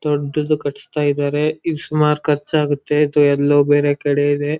ದೊಡ್ಡದು ಕಟ್ಟಿಸ್ತಾ ಇದ್ದಾರೆ ಇದ್ಕೆ ಸುಮಾರ್ ಖರ್ಚಾಗುತ್ತೆ ಅಥವಾ ಎಲ್ಲೋ ಬೇರೆ ಕಡೆ ಇದೆ.